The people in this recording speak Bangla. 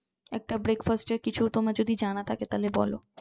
একটা breakfast এর কিছু তোমার যদি জানা থাকে তাহলে বলো